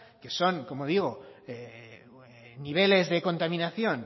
que son como digo niveles de contaminación